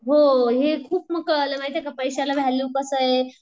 हो हे खूप कळालं महिति ये का पैश्याला व्हॅल्यू कसं आहे.